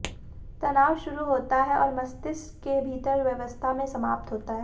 तनाव शुरू होता है और मस्तिष्क के भीतर व्यवस्था में समाप्त होता है